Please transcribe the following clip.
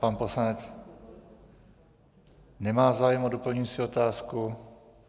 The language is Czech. Pan poslanec nemá zájem o doplňující otázku.